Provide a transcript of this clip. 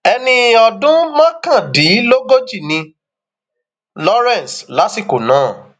ẹni ọdún mọkàndínlógójì ni lawrence lásìkò náà